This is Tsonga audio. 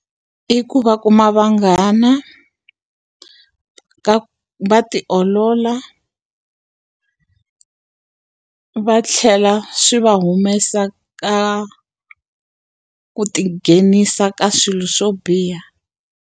I ku va kuma vanghana, va ti olola va tlhela swi va humesa ka ku ti nghenisa ka swilo swo biha.